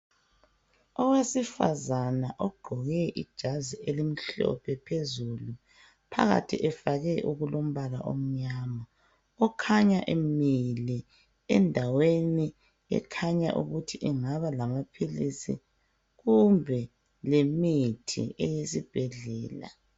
Owesifazana ogqoke ijazi elimhlophe phezulu phakathi efake okulombala omnyama okhanya emile endaweni ekhanya ukuthi ingaba lamaphilisi kumbe lemithi eyesibhedlela.